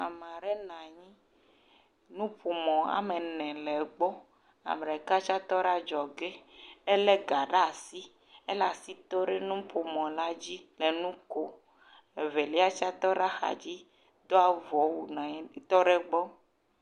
Ame aɖe nɔ anyi, nuƒomɔ woame ene le egbɔ, ame ɖeka tse nɔ adzɔge, elé ga ɖe asi, ele asi dom ɖe nuƒomɔla dzi le nu kom, evelia tse tɔ ɖe axa dzi, do avɔ wu nɔ anyi tɔ ɖe egbɔ.